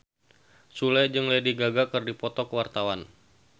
Sule jeung Lady Gaga keur dipoto ku wartawan